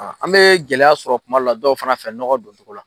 An bɛ gɛlɛya sɔrɔ kuma dɔw la, dow fana fɛ nɔgɔ don cogo la.